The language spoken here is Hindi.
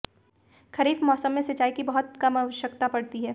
खरीफ मौसम में सिंचाई की बहुत कम आवश्यकता पड़ती है